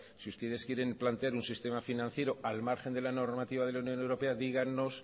si ustedes quieren planear un sistema financiero al margen de la normativa de la unión europea dígannos